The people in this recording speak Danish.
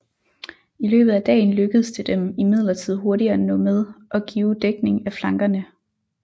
I løbet af dagen lykkedes det dem imidlertid hurtigt at nå med og give dækning af flankerne